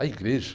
A igreja